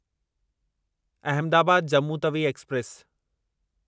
Ahmedabad Jammu Tawi express